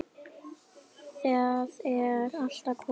Það er allt að koma.